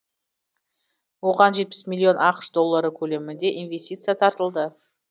оған жетпіс миллион ақш доллары көлемінде инвестиция тартылды